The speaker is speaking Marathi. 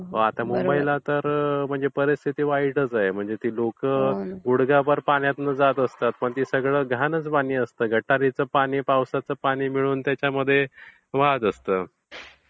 आता मुंबईला म्हणजे तर परिस्थिति वाईटच आहे. म्हणजे ती लोकं गुडघाभर पाण्यातून जात असतात पण ते सगळं घाणच पाणी असते. गटाराचं पाणी मध्ये पावसाचं पानी मिळून त्याच्यामध्ये वाहत असते.